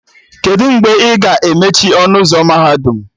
Kedụ mgbe a ga-emechi ọnụ ụzọ mahadum?